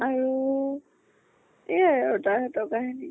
আৰু এয়া আৰু তাহাতৰ কাহিনী।